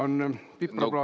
On pipraplaaster!